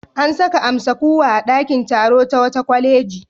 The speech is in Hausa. An saka amsa-kuwwa a ɗakin taro ta wata kwaleji.